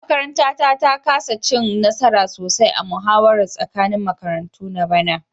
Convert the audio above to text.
Makaranta ta kasa cin nasara sosai a muhawarar tsakanin makarantu na bana